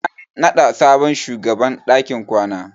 An naɗa sabon shugaban dakin kwana.